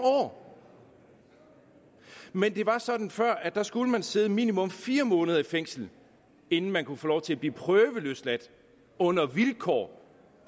år men det var sådan før at der skulle man sidde minimum fire måneder i fængsel inden man kunne få lov til at blive prøveløsladt under vilkår